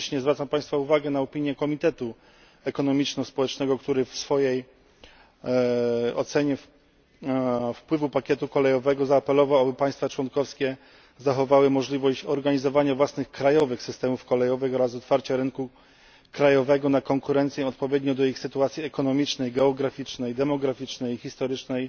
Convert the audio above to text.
Jednocześnie zwracam Państwa uwagę na opinię Komitetu Ekonomiczno Społecznego, który w swojej ocenie wpływu pakietu kolejowego zaapelował, aby państwa członkowskie zachowały możliwość organizowania własnych, krajowych systemów kolejowych oraz otwarcia rynku krajowego na konkurencję odpowiednio do ich sytuacji ekonomicznej, geograficznej, demograficznej i historycznej